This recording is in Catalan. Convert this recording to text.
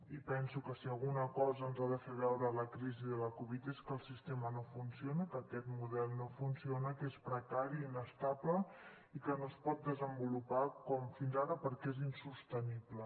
i penso que si alguna cosa ens ha de fer veure la crisi de la covid és que el sistema no funciona que aquest model no funciona que és precari i inestable i que no es pot desenvolupar com fins ara perquè és insostenible